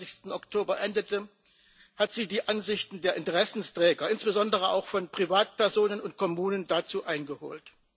22. Oktober endete, hat sie die Ansichten der Interessenträger, insbesondere auch von Privatpersonen und Kommunen, dazu eingeholt.